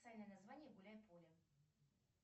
официальное название гуляй поле